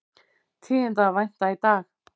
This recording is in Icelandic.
Tíðinda að vænta í dag